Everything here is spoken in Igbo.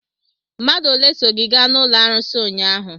Mmadụ ole so gị gaa n'ụlọ arụsị ụnyaahụ?